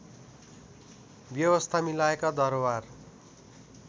व्यवस्था मिलाएका दरबार